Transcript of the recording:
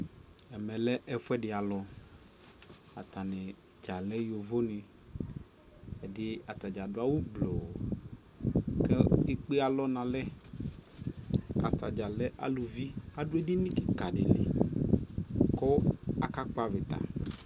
ɛmɛ lɛ ɛƒʋɛdi alʋ, atani dza lɛ yɔvɔ ni, atani gya adʋ awʋ gblɔɔ kʋ ɛkpɛ alɔ nʋ alɛ ,atagya lɛ alʋvi adʋ ɛdini kikaa dili kʋ aka kpɔ avita